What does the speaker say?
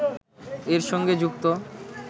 এর সঙ্গে যুক্ত